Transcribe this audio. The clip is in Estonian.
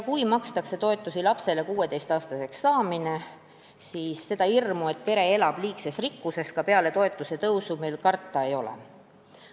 Kui toetusi makstakse lapse 16-aastaseks saamiseni, siis meil seda hirmu, et pere elab liigses rikkuses, ka peale toetuse tõusu ei ole.